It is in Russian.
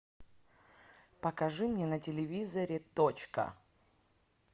покажи мне на телевизоре точка